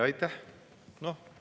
Aitäh!